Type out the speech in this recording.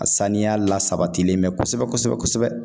A saniya la sabatilen bɛ kosɛbɛ kosɛbɛ